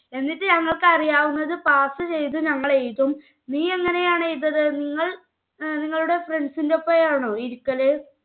എന്നിട്ട് ഞങ്ങൾക്ക് അറിയാവുന്നത് pass ചെയ്തത് ഞങ്ങൾ എഴുതും. നീ എങ്ങനെയാണ് . നിങ്ങൾ നിങ്ങളുടെ friends ന്റെ ഒപ്പമാണ് ഇരിക്കല്?